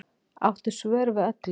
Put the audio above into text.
Áttu svör við öllu